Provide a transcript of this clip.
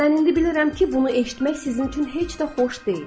Mən indi bilirəm ki, bunu eşitmək sizin üçün heç də xoş deyil.